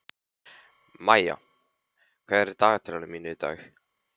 Maía, hvað er á dagatalinu mínu í dag?